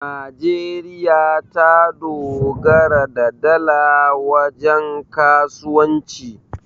najeriya ta dogara da dala wajen kasuwanci